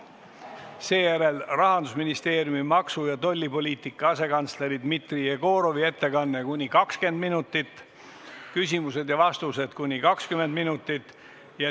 Seejärel on Rahandusministeeriumi maksu- ja tollipoliitika asekantseleri Dmitri Jegorovi ettekanne kuni 20 minutit, küsimused ja vastused kuni 20 minutit.